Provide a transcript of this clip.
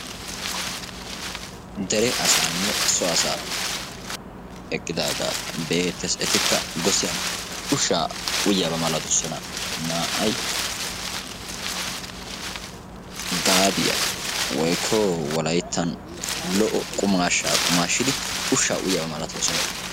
dere asanne so asaa eqqidaaga be'eettees etakka gossiyaan ushsha uyyiyaaba malatoosona; naa"ay gaabiyaa woykko wolayttan lo"o qumashsha qumashshidi ushsha uyyiyaaba malatoosoan.